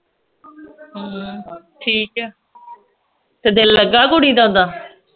ਹਮ ਠੀਕ ਆ ਤੇ ਦਿੱਲ ਲਗਾ ਕੁੜੀ ਦਾ ਓਦਾਂ